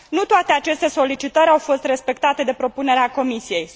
Nu toate aceste solicitări au fost respectate de propunerea Comisiei.